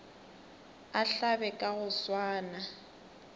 a hlabe ka go swana